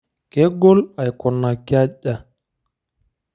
Kegol aikunaki aja?